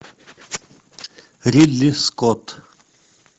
ридли скотт